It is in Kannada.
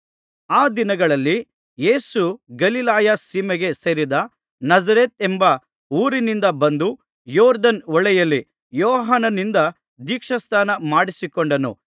ಆ ದಿನಗಳಲ್ಲಿ ಯೇಸು ಗಲಿಲಾಯ ಸೀಮೆಗೆ ಸೇರಿದ ನಜರೇತೆಂಬ ಊರಿನಿಂದ ಬಂದು ಯೊರ್ದನ್ ಹೊಳೆಯಲ್ಲಿ ಯೋಹಾನನಿಂದ ದೀಕ್ಷಾಸ್ನಾನ ಮಾಡಿಸಿಕೊಂಡನು